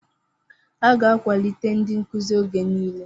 A ga-akwalite ndị nkuzi oge niile.